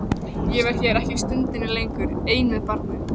Ég verð hér ekki stundinni lengur ein með barnið.